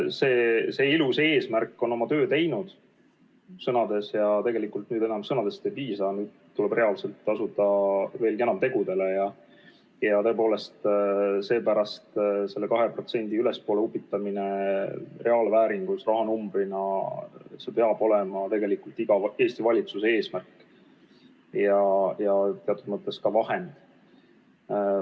See ilus eesmärk on sõnades oma töö teinud ja tegelikult nüüd enam sõnadest ei piisa, tuleb reaalselt asuda veelgi enam tegudele ja seepärast peab reaalse rahanumbri 2%-st ülespoole upitamine olema iga Eesti valitsuse eesmärk ja teatud mõttes ka vahend.